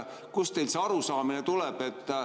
Kust teil see arusaamine tuleb?